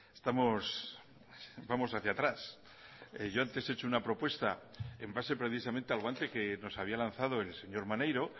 estamos vamos hacia atrás yo antes he hecho una propuesta en base precisamente al guante que nos había lanzado el señor maneiro